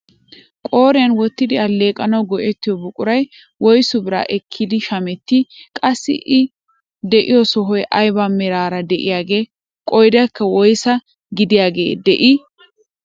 Qooriyaan wottidi alleeqanawu go"ettiyoo buquray woysu biraa ekkidi shamettii? qassi i de'iyoo sohoy ayba meraara de'iyaagee? qoodankka woysaa gidiyaagee de'ii?